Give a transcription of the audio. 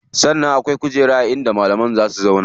Sannan akwai kujera inda malami zai zauwa.